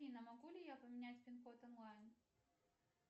афина могу ли я поменять пин код онлайн